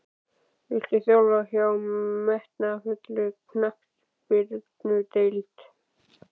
Viltu þjálfa hjá metnaðarfullri knattspyrnudeild?